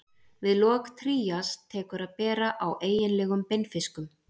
Við lok trías tekur að bera á eiginlegum beinfiskum.